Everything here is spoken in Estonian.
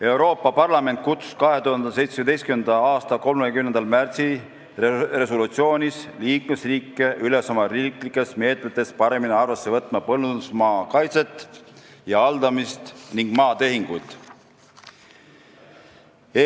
" Euroopa Parlament kutsus 2017. aasta 30. märtsi resolutsioonis liikmesriike üles oma riiklikes meetmetes paremini arvesse võtma põllundusmaa kaitset ja haldamist ning maatehinguid.